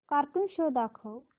cartoon show दाखव